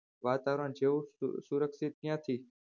વાતાવરણ જેવું સુરક્ષિત ક્યાંથી